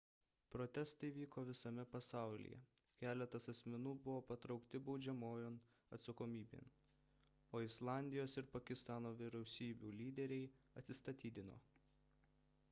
protestai vyko visame pasaulyje keletas asmenų buvo patraukti baudžiamojon atsakomybėn o islandijos ir pakistano vyriausybių lyderiai atsistatydino